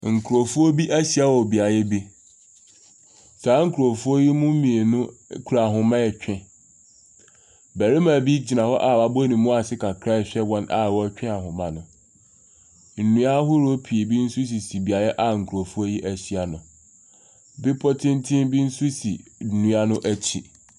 Nkurɔfoɔ bi ahyia wɔ beaeɛ bi, saa nkurɔfoɔ yi mu mmienu kura ahoma ɛretwe, barima bi gyina hɔ a wɔabɔ ne mu ase kakra ɛrehwɛ wɔn a wɔretwe ahoma no, nnua ahodoɔ pii nso sisi beaeɛ a nkurɔfoɔ yi ahyia no, bepɔ tenten bi nso si nnua no akyi.